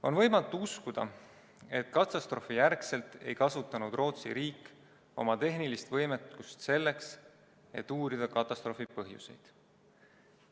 On võimatu uskuda, et katastroofijärgselt ei kasutanud Rootsi riik oma tehnilist võimekust selleks, et uurida katastroofi põhjuseid.